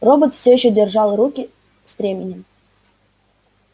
робот все ещё держал руки стременем